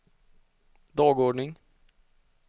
dagordning